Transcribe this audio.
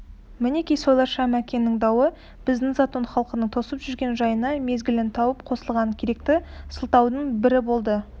мінеки солайша мәкеннің дауы біздің затон халқының тосып жүрген жайына мезгілін тауып қосылған керекті сылтаудың бірі болды